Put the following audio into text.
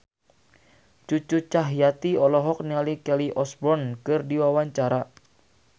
Cucu Cahyati olohok ningali Kelly Osbourne keur diwawancara